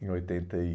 em oitenta e